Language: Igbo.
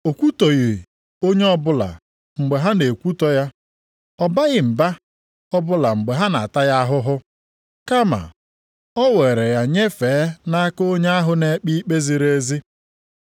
O kwutọghị onye ọbụla mgbe ha na-ekwutọ ya. Ọ baghị mba ọbụla mgbe ha na-ata ya ahụhụ, kama o were ya nyefee nʼaka onye ahụ na-ekpe ikpe ziri ezi.